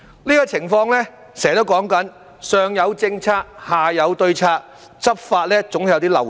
這種情況就是我常說的"上有政策、下有對策"，執法上總有些漏動。